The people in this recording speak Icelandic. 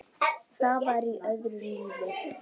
Það var í öðru lífi.